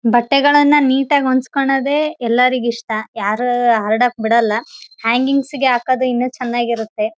ಬಟ್ಟೆಗಳನ್ನು ನೀಟಾಗಿ ಒಣಗಿಸಿಕೊಳ್ಳೋದೇ ಬಹಳ ಇಷ್ಟ ಯಾರ ಹಾರ್ಡಕ್ ಬಿಡಲ್ಲ ಹ್ಯಾಂಗಿಂಗ್ಸ್